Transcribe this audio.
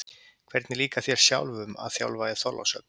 Hvernig líkar þér sjálfum að þjálfa í Þorlákshöfn?